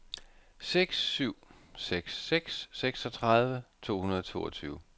seks syv seks seks seksogtredive to hundrede og toogtyve